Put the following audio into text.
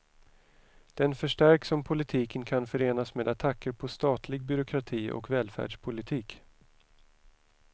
Den förstärks om politiken kan förenas med attacker på statlig byråkrati och välfärdspolitik.